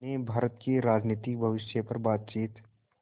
ने भारत के राजनीतिक भविष्य पर बातचीत